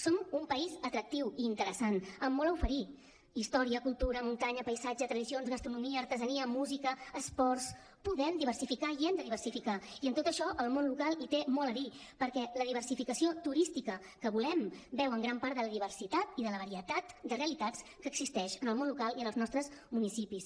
som un país atractiu i interessant amb molt a oferir història cultura muntanya paisatge tradicions gastronomia artesania música esports podem diversificar i hem de diversificar i en tot això el món local hi té molt a dir perquè la diversificació turística que volem beu en gran part de la diversitat i de la varietat de realitats que existeixen en el món local i en els nostres municipis